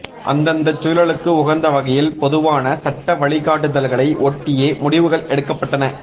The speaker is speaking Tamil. அந்தந்தச் சூழலுக்கு உகந்தவகையில் பொதுவான சட்ட வழிகாட்டுதல்களை ஒட்டியே முடிவுகள் எடுக்கப்பட்டன